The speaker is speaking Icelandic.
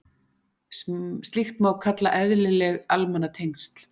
Slíkt má kalla eðlileg almannatengsl.